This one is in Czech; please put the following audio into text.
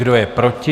Kdo je proti?